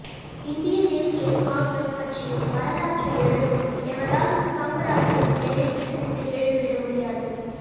இந்திய தேசிய காங்கிரஸ் கட்சியின் வரலாற்றை எழுதும் எவராலும் காமராஜரின் பெயரை விட்டுவிட்டு எழுதிவிட முடியாது